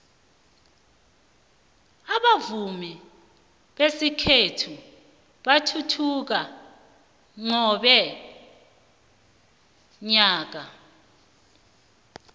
abavumi besikhethu bathuthuka qobe nyaka